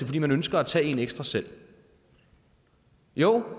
fordi man ønsker at tage en ekstra selv jo